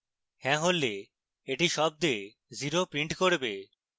হ্যাঁ হলে এটি শব্দে zero print করবে